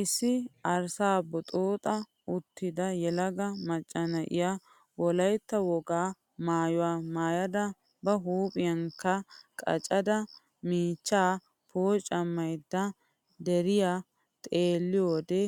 Issi arsaa booxxa uttidayelaga macca na'iya wolaytta wogaa maayuwa maayada ba huuphiyankka qachchada miichchaa pooccammayidda diyaara xeelliyoode